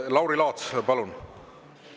Lauri Laats, palun!